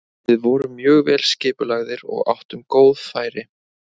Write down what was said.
Við vorum mjög vel skipulagðir og áttum góð færi.